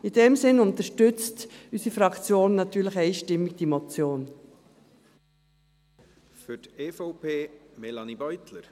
In diesem Sinn unterstützt unsere Fraktion diese Motion natürlich einstimmig.